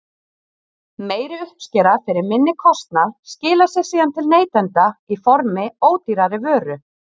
Meiri uppskera fyrir minni kostnað skilar sér síðan til neytenda í formi ódýrari vöru.